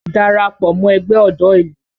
Darapọ̀ mọ ẹgbẹ́ ọ̀dọ́ ìlú!